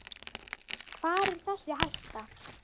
Hvar er þessi hætta.